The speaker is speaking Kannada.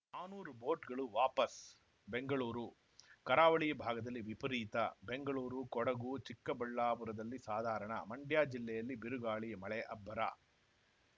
ನಾನೂರು ಬೋಟ್‌ಗಳು ವಾಪಸ್‌ ಬೆಂಗಳೂರು ಕರಾವಳಿ ಭಾಗದಲ್ಲಿ ವಿಪರೀತ ಬೆಂಗಳೂರು ಕೊಡಗು ಚಿಕ್ಕಬಳ್ಳಾಪುರದಲ್ಲಿ ಸಾಧಾರಣ ಮಂಡ್ಯ ಜಿಲ್ಲೆಯಲ್ಲಿ ಬಿರುಗಾಳಿ ಮಳೆ ಅಬ್ಬರ